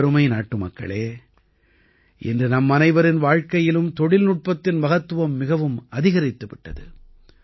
எனதருமை நாட்டுமக்களே இன்று நம்மனைவரின் வாழ்க்கையிலும் தொழில்நுட்பத்தின் மகத்துவ மிகவும் அதிகரித்து விட்டது